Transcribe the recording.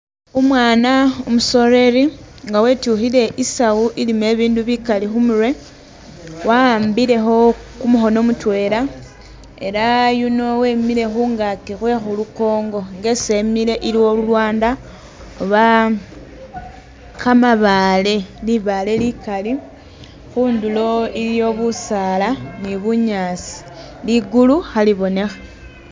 Umwana umusoleri nga wetukhile isawu ilimo ibindu bikali khumurwe waambile kho kumukhono mutwela elah yuno wemile khungaki khwe khulunkongo, nga esi Emile iliyo lulwanda oba kamabaale, libaale likaali khundulo iliyo busaala ni bunyaasi , ligulu khali bonekha